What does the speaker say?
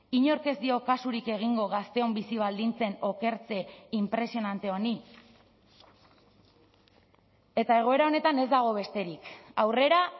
inork ez dio kasurik egingo gazteon bizi baldintzen okertze inpresionante honi eta egoera honetan ez dago besterik aurrera